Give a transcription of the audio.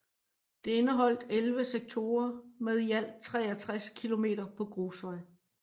Det indeholdt 11 sektorer med i alt 63 km på grusvej